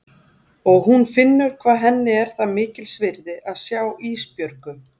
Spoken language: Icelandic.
Og hún finnur hvað henni er það mikils virði að sjá Ísbjörgu.